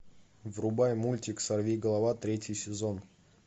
врубай мультик сорви голова третий сезон